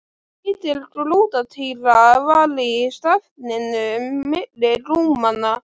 Lítil grútartýra var í stafninum milli rúmanna.